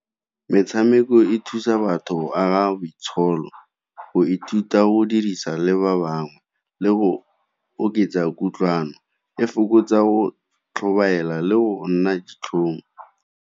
Metshameko e thusa batho go aga boitsholo, go ithuta o dirisa le ba bangwe le go oketsa kutlwano e fokotsa go tlhobaela le go nna ditlhong.